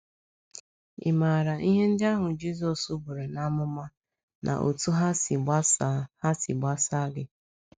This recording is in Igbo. Ị̀ maara ihe ndị ahụ Jizọs buru n’amụma na otú ha si gbasa ha si gbasa gị?